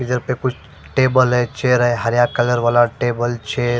इधर पे कुछ टेबल है चेयर है हरया कलर वाला टेबल चेयर --